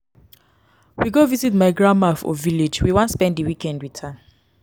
we go visit my grandma for village we wan spend di weekend wit her.